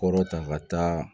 Kɔrɔ ta ka taa